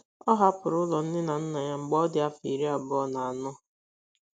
Ọ hapụrụ ụlọ nne na nna ya mgbe ọ dị afọ iri abụọ na anọ.